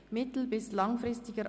Weitere Unterschriften: RRB-Nr